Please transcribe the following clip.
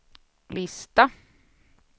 lista